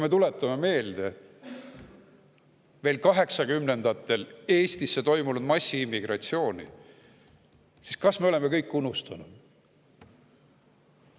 Tuletame meelde veel kaheksakümnendatel toimunud massiimmigratsiooni Eestisse – kas me oleme kõik unustanud?